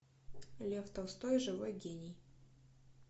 лев толстой живой гений